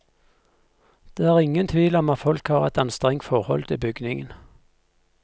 Det er ingen tvil om at folk har et anstrengt forhold til bygningen.